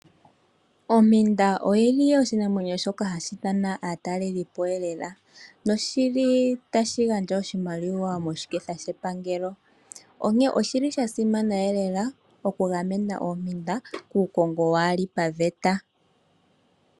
Ompinda oshinamwenyo shoka hashi ithana aatalelipo lela noshi li tashi gandja oshimaliwa moshiketha shepangelo. Osha simana okugamena oompinda kuukongo waa li paveta.